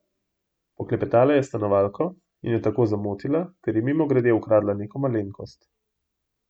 Poklepetala je s stanovalko in jo tako zamotila ter ji mimogrede ukradla neko malenkost.